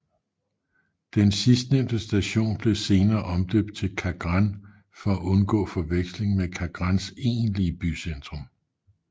Den sidstnævnte station blev senere omdøbt til Kagran for at undgå forveksling med Kagrans egentlige bycentrum